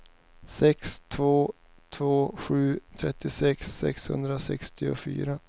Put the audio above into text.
sex två två sju trettiosex sexhundrasextiofyra